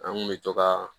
An kun bɛ to ka